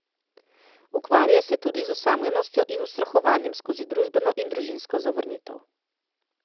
Ukvarja se tudi z osamljenostjo in ustrahovanjem skozi družbeno in družinsko zavrnitev.